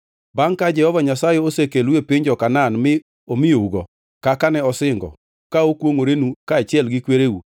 “Bangʼ ka Jehova Nyasaye osekelou e piny jo-Kanaan mi omiyougo, kaka ne osingo ka okwongʼorenu kaachiel gi kwereu,